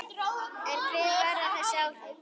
En hver verða þessi áhrif?